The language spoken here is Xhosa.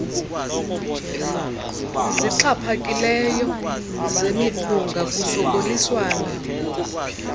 zixhaphakileyo zemiphunga kusokoliswana